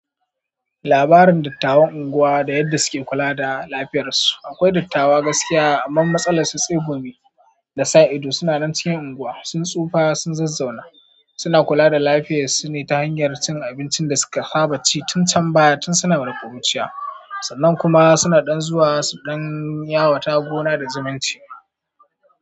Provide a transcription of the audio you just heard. Labarin dottawan unguwa da yadda suke kula da lafiyar su. Akwai dottawa gaskiya, amman matsalar su tsegumi da sa ido. Sunanan cikin unguwa, sun sufa sun zazzauna. Suna kula da lafiyar su ne ta hanyar cin abincin da suka saba ci tun can baya tun suna ma kuruciya. Sannan kuma suna ɗan zuwa su ɗan yawata gona da zumunci.